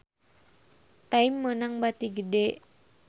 Time meunang bati gede